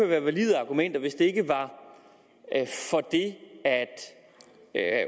være valide argumenter hvis det ikke var for det at